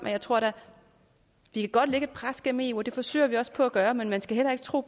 jeg tror da godt vi kan pres gennem eu og det forsøger vi også på at gøre men man skal heller ikke tro